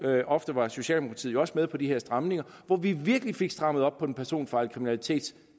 ofte var socialdemokratiet også med på de her stramninger hvor vi virkelig fik strammet op på den personfarlige kriminalitet